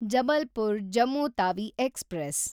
Jabalpur Jammu Tawi express